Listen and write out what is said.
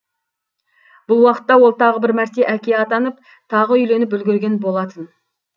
бұл уақытта ол тағы бір мәрте әке атанып тағы үйленіп үлгерген болатын